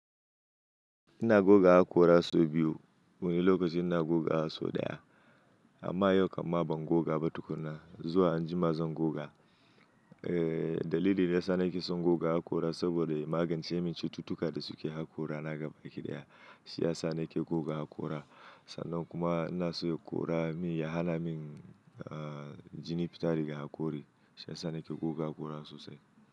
Ina goga haƙora sau biyu. Wani lokaci ina goga haƙora sau ɗaya amma yau kam ma ban goga ba tukuna. Zuwa anjima zan goga. Eh, dalilin da ya sa nake son goga haƙora saboda magance min cututtuka da suke haƙora na gaba ƙidaya. Shi ya sa nake goga haƙora. Sannan kuma ina so yaƙora min ya hana min, ah, jini fitari daga haƙori. Shi ya sa nake goga haƙora sosai.